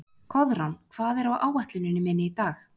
Koðrán, hvað er á áætluninni minni í dag?